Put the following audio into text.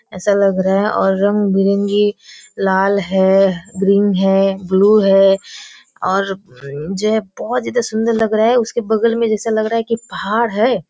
ऐसा लग रहा है और रंग-बिरंगी लाल है ग्रीन है ब्लू है और जे बहुत ज्यादा सुंदर लग रहा है उसके बगल में जैसा लग रहा है की पहाड़ है।